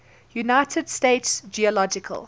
united states geological